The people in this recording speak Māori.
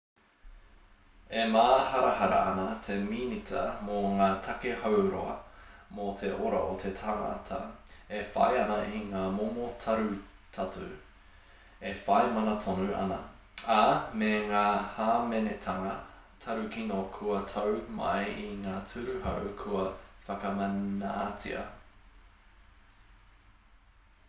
e māharahara ana te minita mō ngā take hauora mō te ora o te tangata e whai ana i ngā momo tarutatu e whai mana tonu ana ā me ngā hāmenetanga tarukino kua tau mai i ngā ture hou kua whakamanatia